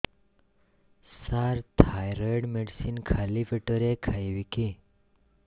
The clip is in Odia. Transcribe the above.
ସାର ଥାଇରଏଡ଼ ମେଡିସିନ ଖାଲି ପେଟରେ ଖାଇବି କି